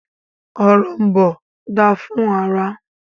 Òrom̀bó dáa fún ara.